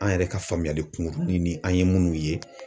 An yɛrɛ ka faamuyali kunkurunin ni an ye munnu ye.